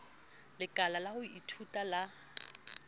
lekala la ho ithuta la